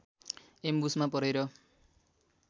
एम्बुसमा परेर